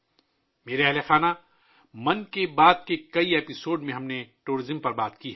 میرے پریوار جنوں ، ہم نے 'من کی بات' کی کئی قسطوں میں سیاحت کے بارے میں بات کی ہے